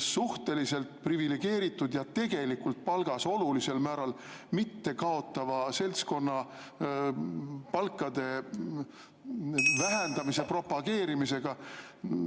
suhteliselt privilegeeritud ja tegelikult palgas olulisel määral mitte kaotava seltskonna vähendamise propageerimisega.